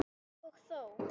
Og þó!